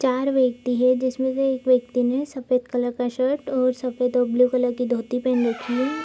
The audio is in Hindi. चार व्यक्ति है जिसमें से एक व्यक्ति ने सफेद कलर का शर्ट और सफेद और ब्लू कलर की धोती पहन रखी है।